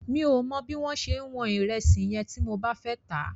Mi ò mọ bí mo ṣe wọn ìrẹsì yẹn tí mo bá fẹ́ tà á.